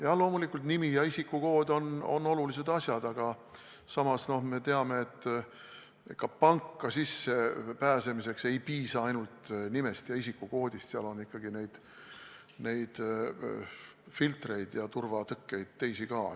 Jah, loomulikult, nimi ja isikukood on olulised asjad, aga samas me teame, et ka panka sisse pääsemiseks ei piisa ainult nimest ja isikukoodist, seal on ikkagi neid filtreid ja turvatõkkeid teisi ka.